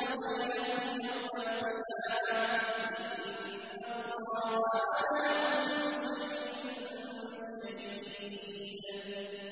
يَفْصِلُ بَيْنَهُمْ يَوْمَ الْقِيَامَةِ ۚ إِنَّ اللَّهَ عَلَىٰ كُلِّ شَيْءٍ شَهِيدٌ